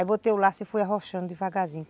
Aí botei o laço e fui arrochando devagarzinho.